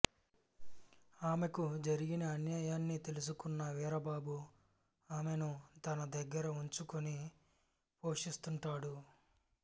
ఆమెకు జరిగిన అన్యాయాన్ని తెలుసుకున్న వీరబాబు ఆమెను తన దగ్గర ఉంచుకుని పోషిస్తుంటాడు